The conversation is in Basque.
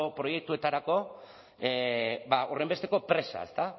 proiektuetarako horrenbesteko presa ezta